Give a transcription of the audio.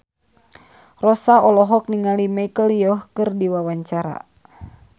Rossa olohok ningali Michelle Yeoh keur diwawancara